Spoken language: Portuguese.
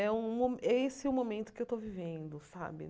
É um mo é esse o momento que eu estou vivendo, sabe?